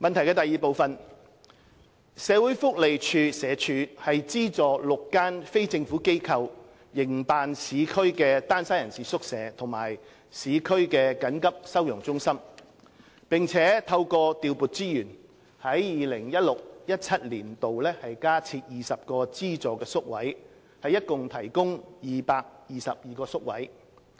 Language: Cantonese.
二社會福利署資助6間非政府機構營辦市區單身人士宿舍和市區緊急收容中心，並透過調撥資源，於 2016-2017 年度加設20個資助宿位，共提供222個宿位。